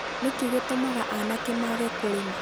nĩkĩĩ gĩtũmaga aanake maage kũrima?